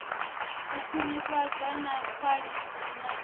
u khwinifhadzwa ha khwaḽithi na